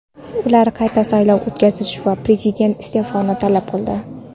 Ular qayta saylov o‘tkazish va Prezident iste’fosini talab qildi.